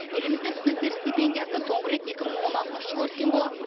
елімізде студенттер стипендиясы соңғы рет екі мың он алтыншы жылы өскен болатын